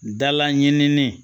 Dala ɲinini